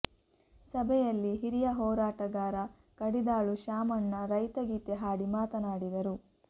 ಸಭೆಯಲ್ಲಿ ಹಿರಿಯ ಹೋರಾಟಗಾರ ಕಡಿದಾಳು ಶ್ಯಾಮಣ್ಣ ರೈತ ಗೀತೆ ಹಾಡಿ ಮಾತನಾಡಿದರು